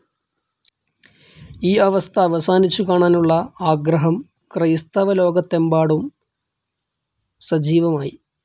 ഈ അവസ്ഥ അവസാനിച്ചു കാണാനുള്ള ആഗ്രഹം ക്രൈസ്തവലോകത്തെമ്പാടും സജീവമായി.